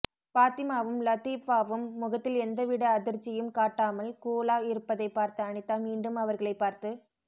பாத்திமாவும் லதீஃபாவும் முகத்தில் எந்த விட அதிர்ச்சியும் காட்டாமல் கூலாக் இருப்பதை பார்த்த அனிதா மீண்டும் அவர்களை பார்த்து